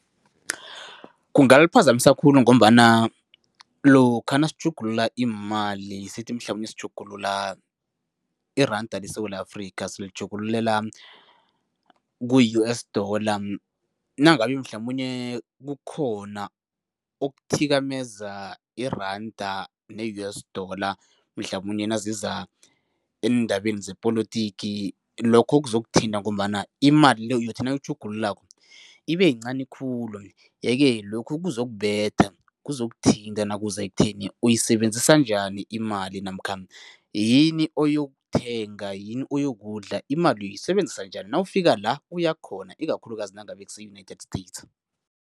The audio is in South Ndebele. Kungaliphazamisa khulu ngombana lokha nasitjhugulula iimali, sithi mhlamunye sitjhugulula iranda leSewula Afrika, silitjhugululela ku-U_S dollar, nangabe mhlamunye kukhona okuthikameze iranda ne-U_S dollar mhlamunye naziza eendabeni zepolotiki, lokho zokuthinta ngombana imali le uyothi nawuyitjhugululako ibeyincani khulu yeke lokhu kuzokubetha, kuzokuthinta nakuza ekutheni uyisebenzisa njani imali namkha yini oyokuthenga, yini oyokudla, imali uyisebenzisa njani nawufika la ukuya khona ikakhulukazi nangabe kuse-United States.